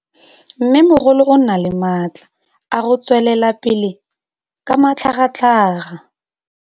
Mmêmogolo o na le matla a go tswelela pele ka matlhagatlhaga.